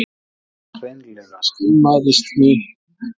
Ég hreinlega skammaðist mín.